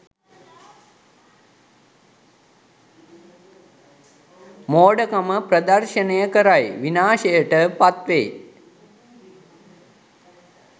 මෝඩකම ප්‍රදර්ශනය කරයි විනාශයට පත්වේ.